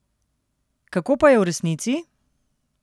Kako pa je v resnici?